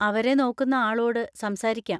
അവരെ നോക്കുന്ന ആളോട് സംസാരിക്കാം.